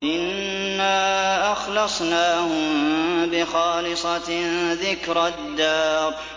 إِنَّا أَخْلَصْنَاهُم بِخَالِصَةٍ ذِكْرَى الدَّارِ